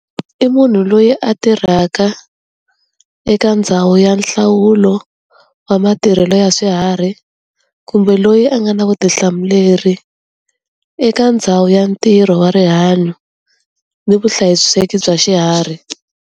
I munhu loyi a tirhaka eka ndhawu ya nhlawulo wa matirhelo ya swiharhi, kumbe loyi a nga na vutihlamuleri eka ndhawu ya ntirho wa rihanyo ni vuhlayiseki bya xiharhi.